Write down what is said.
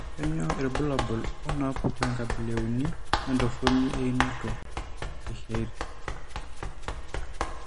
Kainyio irbulabul onaapuku enkabila euni entoroni einoto eChiari?